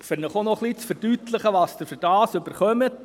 Ich möchte Ihnen noch verdeutlichen, was Sie dafür bekommen: